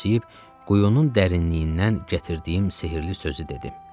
Gülümsəyib quyunun dərinliyindən gətirdiyim sehirli sözü dedi.